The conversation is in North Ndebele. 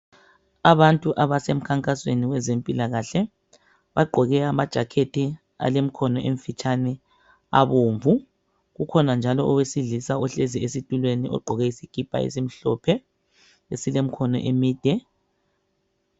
Abantu abasemkhankasweni wezempilakahle bagqoke ama"jacket" alemikhono emfitshane abomvu kukhona njalo owesilisa ohlezi esitulweni ogqoke isikipa esimhlophe esilemkhono emide.